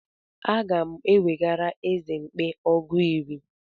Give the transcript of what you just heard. Aga m ewegara eze mkpi ọgụ iri.